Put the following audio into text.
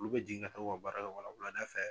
Olu bɛ jigin ka taa u ka baara kɛ wala wulada fɛ